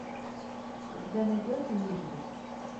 у тебя найдется мизери